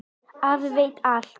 Afi veit allt.